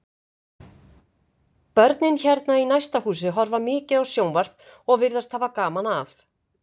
Börnin hérna í næsta húsi horfa mikið á sjónvarp og virðast hafa gaman af.